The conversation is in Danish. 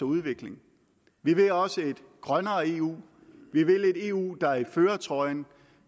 udvikling vi vil også et grønnere eu vi vil et eu der er i førertrøjen